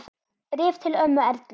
Bréf til ömmu Erlu.